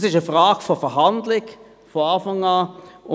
Das ist eine Frage der Verhandlungen, von Beginn weg.